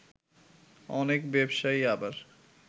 অনেক ব্যবসায়ী আবার